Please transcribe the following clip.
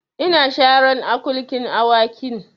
Ina sharan akulkin Awakin